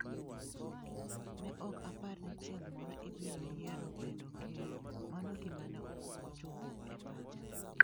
Ne ok apar ni chieng ' moro ibiro yiero bedo ker. Mano gima ne ok ochopo e pacha. "